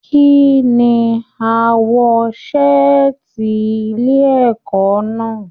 Kínní aawọ saati ilé ẹ̀kọ́ náà?